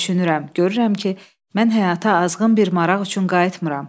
Düşünürəm, görürəm ki, mən həyata azğın bir maraq üçün qayıtmıram.